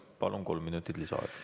Palun, kolm minutit lisaaega!